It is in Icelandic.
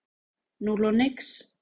Núll og nix.